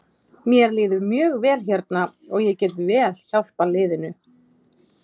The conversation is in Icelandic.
Mér líður mjög vel hérna og ég get vel hjálpað liðinu.